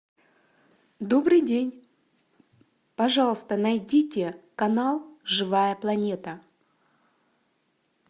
добрый день пожалуйста найдите канал живая планета